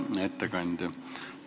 Hea ettekandja!